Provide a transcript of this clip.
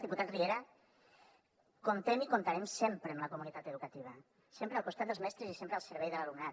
diputat riera comptem i comptarem sempre amb la comunitat educativa sempre al costat dels mestres i sempre al servei de l’alumnat